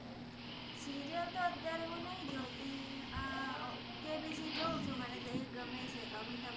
serial તો અત્ય઼અઆરે મુ નૈ જોતી અમ આહ કેબિસિ જોઉ છુ મને તો એજ ગમે છે અમિતાભ